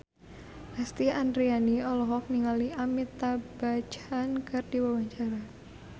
Lesti Andryani olohok ningali Amitabh Bachchan keur diwawancara